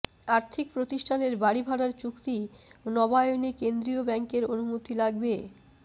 আর্থিক প্রতিষ্ঠানের বাড়ি ভাড়ার চুক্তি নবায়নে কেন্দ্রীয় ব্যাংকের অনুমতি লাগবে